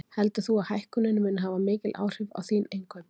Heldur þú að hækkunin muni hafa mikil áhrif á þín innkaup?